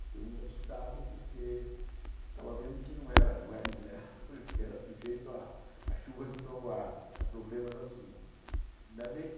Fiquei muito assustado porque estava vendo que não era não era invulnerável, que era sujeito a chuvas e trovoadas, a problemas assim. Ainda bem